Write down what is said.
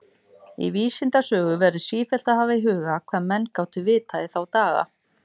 Í vísindasögu verður sífellt að hafa í huga, hvað menn gátu vitað í þá daga.